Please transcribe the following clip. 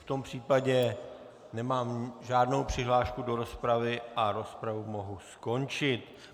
V tom případě nemám žádnou přihlášku do rozpravy a rozpravu mohu skončit.